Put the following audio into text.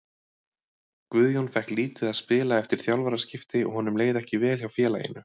Guðjón fékk lítið að spila eftir þjálfaraskipti og honum leið ekki vel hjá félaginu.